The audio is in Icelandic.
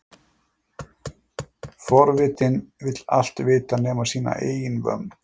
Forvitinn vill allt vita nema sína eigin vömm.